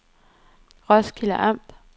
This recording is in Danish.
Roskilde Amt